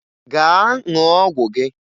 Gaa ṅụọ ọgwụ gị!